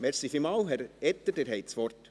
Herr Etter, Sie haben das Wort.